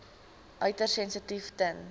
uiters sensitief ten